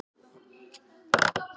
En það er hún ófús að ræða.